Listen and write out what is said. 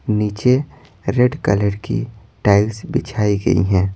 नीचे red colour की tiles बिछाई गई हैं।